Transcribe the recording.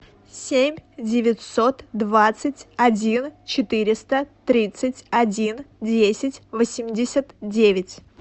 семь девятьсот двадцать один четыреста тридцать один десять восемьдесят девять